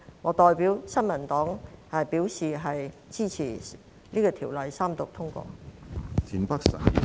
我代表新民黨支持《條例草案》三讀通過。